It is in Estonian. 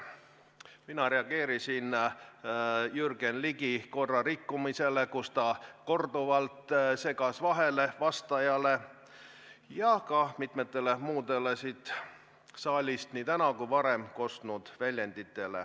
Mina reageerisin Jürgen Ligi korrarikkumisele, kes korduvalt segas vastajale vahele, ja ka mitmetele muudele siit saalist nii täna kui ka varem kostnud väljenditele.